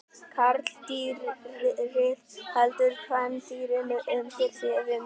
Karldýrið heldur kvendýrinu undir sér við mökun.